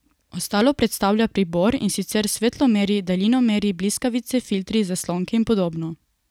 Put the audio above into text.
Ostalo predstavlja pribor, in sicer svetlomeri, daljinomeri, bliskavice, filtri, zaslonke in podobno.